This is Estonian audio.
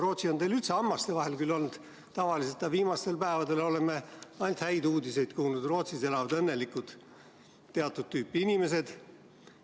Rootsi on teil üldse tavaliselt hammaste vahel olnud, aga viimastel päevadel oleme sealt ainult häid uudiseid kuulnud: Rootsis elavad õnnelikult teatud tüüpi inimesed.